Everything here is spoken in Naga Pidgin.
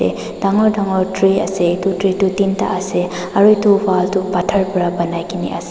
dangor dango tree ase itu tree tu tinta ase aru itu wall tu pathor para banai kena ase.